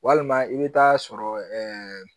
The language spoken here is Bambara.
Walima i bɛ taa sɔrɔ